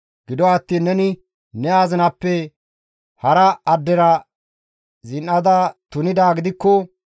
Gido attiin neni ne azinappe hara addera zin7ada tunidaa gidikko,